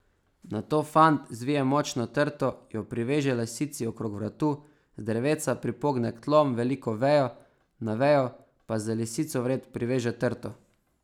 Nato fant zvije močno trto, jo priveže lisici okrog vratu, z drevesa pripogne k tlom veliko vejo, na vejo pa z lisico vred priveže trto.